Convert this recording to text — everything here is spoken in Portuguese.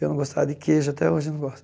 Eu não gostava de queijo, até hoje não gosto.